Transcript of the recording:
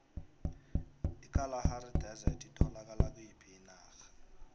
ikalahari desert itholakala kuyiphi inarha